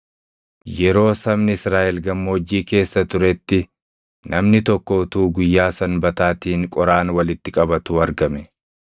Yeroo sabni Israaʼel gammoojjii keessa turetti, namni tokko utuu guyyaa Sanbataatiin qoraan walitti qabatuu argame.